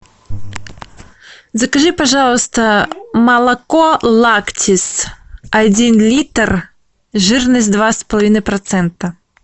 закажи пожалуйста молоко лактис один литр жирность два с половиной процента